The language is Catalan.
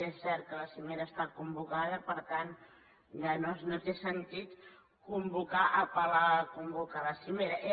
és cert que la cimera està convocada per tant ja no té sentit convocar apel·lar a convocar la cimera